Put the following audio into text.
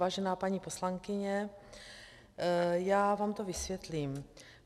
Vážená paní poslankyně, já vám to vysvětlím.